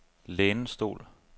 lænestol